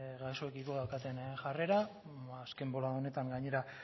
gaixoekiko daukaten jarrera azken bolada honetan gainera